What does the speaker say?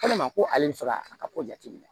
ko ale bɛ fɛ ka a ka ko jateminɛ